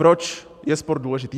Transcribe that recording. Proč je sport důležitý.